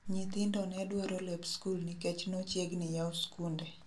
Nyithindo nedwaro lep skul nikech nochiegni yau skunde